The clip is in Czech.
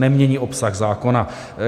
Nemění obsah zákona.